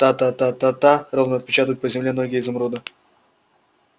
та-та-та-та ровно отпечатывают по земле ноги изумруда